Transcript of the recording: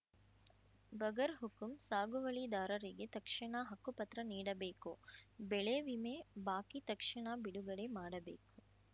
ಬಗರ್‌ಹುಕುಂ ಸಾಗುವಳಿದಾರರಿಗೆ ತಕ್ಷಣ ಹಕ್ಕು ಪತ್ರ ನೀಡಬೇಕು ಬೆಳೆ ವಿಮೆ ಬಾಕಿ ತಕ್ಷಣ ಬಿಡುಗಡೆ ಮಾಡಬೇಕು